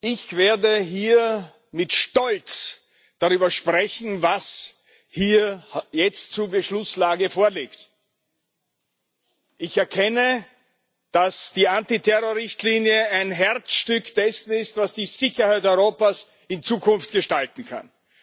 Ich werde hier mit Stolz darüber sprechen, was hier jetzt zur Beschlusslage vorliegt. Ich erkenne, dass die Antiterrorrichtlinie ein Herzstück dessen ist, was die Sicherheit Europas in Zukunft gestalten kann.